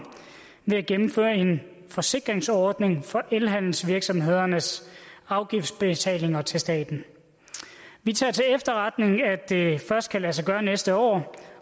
ved at gennemføre en forsikringsordning for elhandelsvirksomhedernes afgiftsbetalinger til staten vi tager til efterretning at det først kan lade sig gøre til næste år